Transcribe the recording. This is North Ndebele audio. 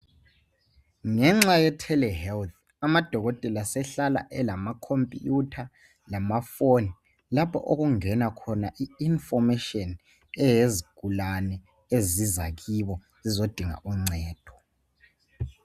Ngenxa ye Tele health amadokotela sehlala elama khompiyutha lamaphone lapho okungena khona information yezigulane eziza kibo zizo dinga uncedo.